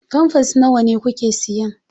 Famfers nawa kuke siyan?